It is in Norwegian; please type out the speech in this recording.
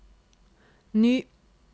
ny